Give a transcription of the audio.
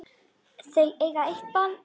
Eiga þau eitt barn.